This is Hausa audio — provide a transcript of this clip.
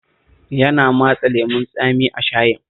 Yana matsa lemon tsami a shayin